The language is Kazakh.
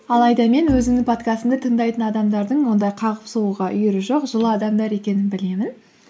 алайда мен өзімнің подкастымды тыңдайтын адамдардың ондай қағып соғуға үйірі жоқ жылы адамдар екенін білемін